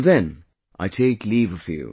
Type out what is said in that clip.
Till then, I take leave of you